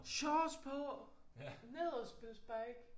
Shorts på ned at spille spike